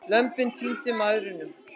Lömbin týndu mæðrunum.